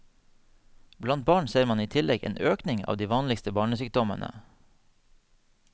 Blant barn ser man i tillegg en økning av de vanligste barnesykdommene.